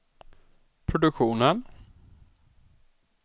produktionen